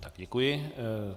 Tak, děkuji.